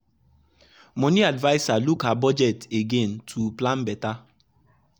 money adviser look her budget again to plan better.